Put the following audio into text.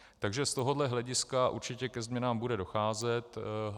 Takže z tohoto hlediska určitě ke změnám bude docházet.